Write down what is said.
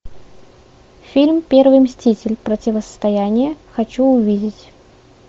фильм первый мститель противостояние хочу увидеть